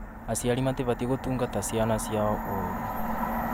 Aciari matibatiĩ gũtungata ciana ciao ũũru